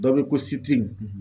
Dɔ be ko